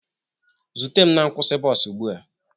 Zute m na nkwụsị bọs ugbu a!